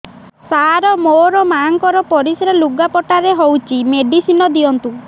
ସାର ମୋର ମାଆଙ୍କର ପରିସ୍ରା ଲୁଗାପଟା ରେ ହଉଚି ମେଡିସିନ ଦିଅନ୍ତୁ